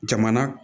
Jamana